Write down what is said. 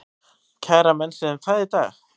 Kæra menn sig um það í dag?